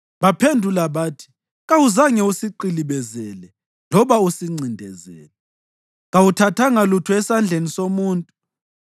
Baphendula bathi, “Kawuzange usiqilibezele loba usincindezele. Kawuthathanga lutho esandleni somuntu.”